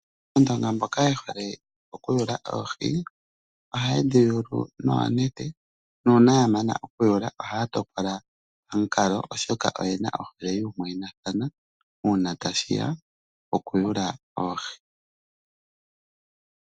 Aandonga mboka yehole okuyula oohi noonete ohaya topolelathana pambepo yuumwayinathana